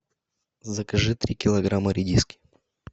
закажи три килограмма редиски